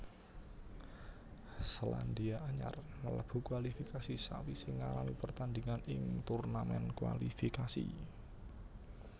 Selandia Anyar mlebu kualifikasi sawisé ngalami pertandingan ing turnamen kualifikasi